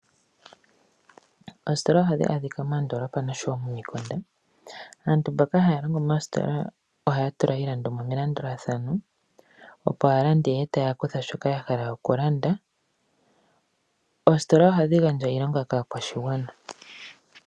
Oostola ohadhi adhika moondolopa nosho tu momikunda, aantu mboka haya longo moostitola ohaya tula iilandomwa melandulathano opo aalandi yeye ya kuthe shoka yahala okulanda, oositola ohadhi gandja iilonga kaakwashigana.